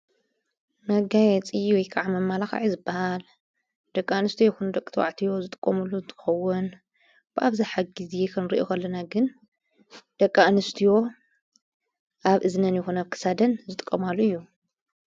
መጋየጽይ ወይ ከዓ መመላኽዒ ዝበሃል ደቂኣንስትዮ ይኹኑ ደቂተባዕትዮ ዝጥቆምሉ ዝጥውን ብኣብዛ ሓጊእዜየ ኽንር የኸለና ግን ደቂኣንስትዮ ኣብ እዝነን ይኩን ኣብ ክሳደን ዝጥቆማሉ እዩ።